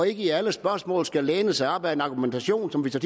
ikke i alle spørgsmål skal læne sig op ad en argumentation som man så